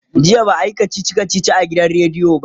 jiya ba'a Yi kachichi kachichi a gidan rediyo ba